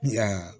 Ya